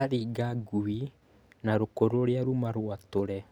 aringa ngũi na rũkũ rũrĩa ruma rũatũre